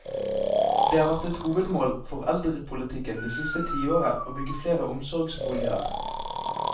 Det har vært et hovedmål for eldrepolitikken det siste tiåret å bygge flere omsorgsboliger.